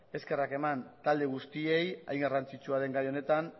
eskerrak eman talde guztiei hain garrantzitsua den gai honetan